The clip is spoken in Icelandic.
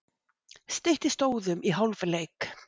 Styttist óðum í hálfleik.